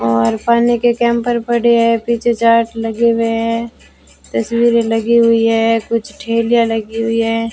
और पानी के पड़े हैं पीछे चाट लगे हुए हैं तस्वीरें लगी हुई है कुछ ठेलियां लगी हुई है।